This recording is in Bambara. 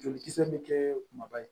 Jolikisɛ bɛ kɛ kumaba ye